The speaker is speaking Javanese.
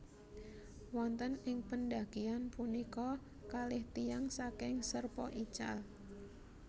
Wonten ing pendakian punika kalih tiyang saking Sherpa ical